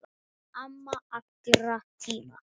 Amma allra tíma.